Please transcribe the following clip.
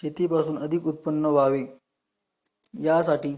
शेतीपासून अधिक उत्पन्न व्हावी, यासाठी